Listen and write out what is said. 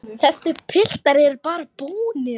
Þessir piltar eru bara búnir.